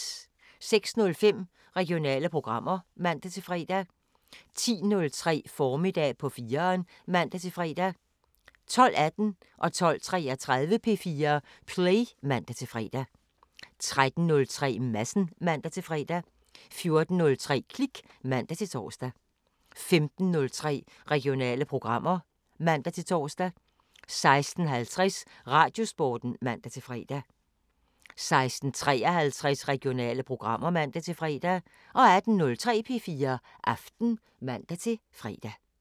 06:05: Regionale programmer (man-fre) 10:03: Formiddag på 4'eren (man-fre) 12:18: P4 Play (man-fre) 12:33: P4 Play (man-fre) 13:03: Madsen (man-fre) 14:03: Klik (man-tor) 15:03: Regionale programmer (man-tor) 16:50: Radiosporten (man-fre) 16:53: Regionale programmer (man-fre) 18:03: P4 Aften (man-fre)